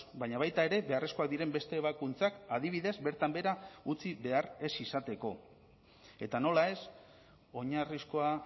baina baita ere beharrezkoak diren beste ebakuntzak adibidez bertan behera utzi behar ez izateko eta nola ez oinarrizkoa